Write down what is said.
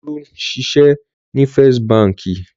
Olú ń ṣiṣẹ́ ní First Báńkì.